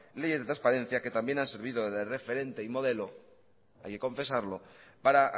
leyes de transparencia que también ha servido de referente y modelo hay que confesarlo para